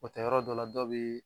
O tɛ yɔrɔ dɔ la, dɔw bi